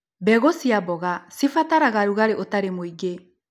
Mbegũ cia mboga cibataraga rũgarĩ ũtarĩ mũingĩ.